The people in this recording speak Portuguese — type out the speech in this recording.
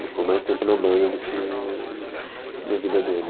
Ele ficou mais tempo na banda do que na vida dele.